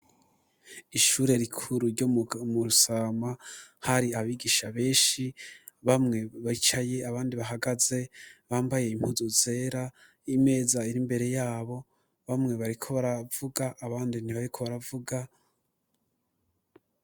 Ishure rikuru ryo mu Rusama hari abigisha benshi bamwe bicaye abandi bahagaze, bambaye impuzu zera, imeza iri mbere yabo, bamwe bariko baravuga abandi ntibariko baravuga.